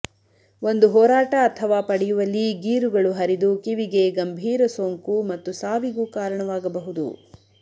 ಒಂದು ಹೋರಾಟ ಅಥವಾ ಪಡೆಯುವಲ್ಲಿ ಗೀರುಗಳು ಹರಿದು ಕಿವಿಗೆ ಗಂಭೀರ ಸೋಂಕು ಮತ್ತು ಸಾವಿಗೂ ಕಾರಣವಾಗಬಹುದು